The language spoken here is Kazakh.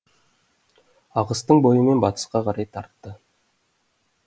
ағыстың бойымен батысқа қарай тартты